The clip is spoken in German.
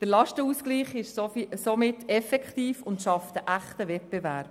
Der Lastenausgleich ist somit effektiv, und er schafft einen echten Wettbewerb.